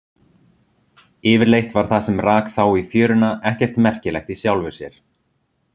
Yfirleitt var það sem rak þá í fjöruna ekkert merkilegt í sjálfu sér.